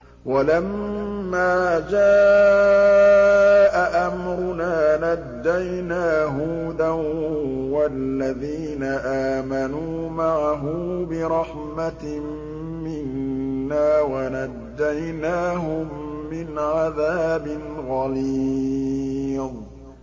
وَلَمَّا جَاءَ أَمْرُنَا نَجَّيْنَا هُودًا وَالَّذِينَ آمَنُوا مَعَهُ بِرَحْمَةٍ مِّنَّا وَنَجَّيْنَاهُم مِّنْ عَذَابٍ غَلِيظٍ